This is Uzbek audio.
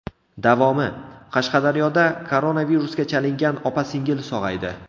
Davomi: Qashqadaryoda koronavirusga chalingan opa-singil sog‘aydi.